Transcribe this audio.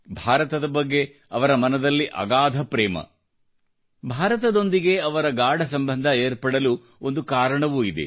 ಭಾರತದ ಬಗ್ಗೆ ಅವರ ಮನದಲ್ಲಿ ಅಗಾಧ ಪ್ರೇಮ ಭಾರತದೊಂದಿಗೆ ಅವರ ಗಾಢಸಂಬಂಧ ಏರ್ಪಡಲು ಒಂದು ಕಾರಣವೂ ಇದೆ